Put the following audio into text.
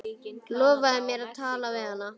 Lofaðu mér að tala við hana.